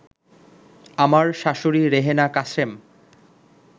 আমার শাশুড়ি রেহেনা কাশেম